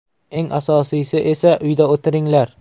Eng asosiysi esa uyda o‘tiringlar.